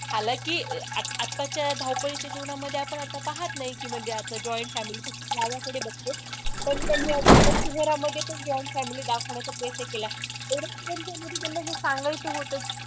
हालाकी, आत आत्ताच्या या धावपळीच्या जीवनामध्ये आपण आता पाहत नाही, की म्हणजे आता join family माझ्याकडे बघते पण त्यांनी एका सिनेमामध्ये पण join family दाखवण्याचा प्रयत्न केला, एवढंच की त्याच्यामधी त्यांना ही सांगायचं होतं